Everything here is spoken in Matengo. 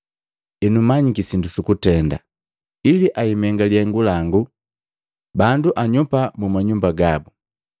Enu manyiki sindu sukutenda, ili ebiimenga lihengu langu, bandu anyopa muma nyumba gabu.’